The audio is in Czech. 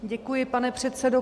Děkuji, pane předsedo.